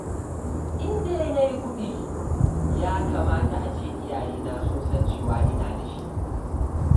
In dai na yi kuɗi, ya kamata a ce iyayena su san cewa ina da shi.